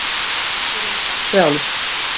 Takturinn var frjáls.